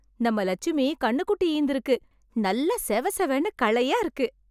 நம்ம லட்சுமி கன்னுகுட்டி ஈந்திருக்கு. நல்லா செவசெவன்னு களையா இருக்கு.